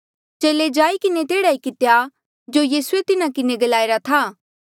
चेले जाई किन्हें तेहड़ा ई कितेया जो यीसूए तिन्हा किन्हें ग्लाईरा था